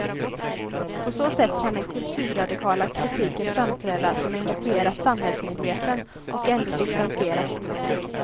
På så sätt kan den kulturradikala kritiken framträda som engagerat samhällsmedveten och ändå distanserat förnuftig.